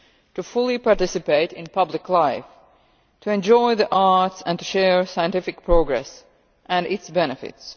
to participate fully in public life, to enjoy the arts and to share scientific progress and its benefits.